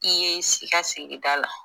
I ye si i ka sigida la.